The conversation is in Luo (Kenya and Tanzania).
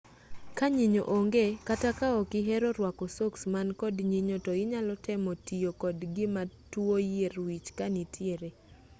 kaa nyinyo onge kata ka ok ihero rwako soks man kod nyinyo to inyalo temo tiyo kod gima tuo yier wich kanitiere